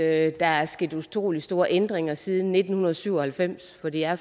at der er sket utrolig store ændringer siden nitten syv og halvfems for det er